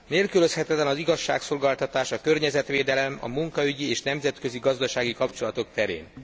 Nélkülözhetetlen az igazságszolgáltatás a környezetvédelem, a munkaügyi és nemzetközi gazdasági kapcsolatok terén.